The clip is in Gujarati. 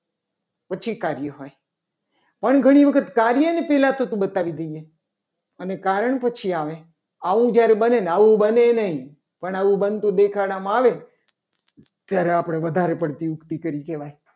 પછી કાર્ય હોય. અને ઘણી વખત પહેલા કાર્યને થતું બતાવી દઈએ અને કારણ પછી આવે. આવ જ્યારે બંનેને આવું બને નહીં. પણ આવું બનતું દેખાડવામાં આવે ને ત્યારે આપણે વધારે પડતી યુક્તિ કરી કહેવાય.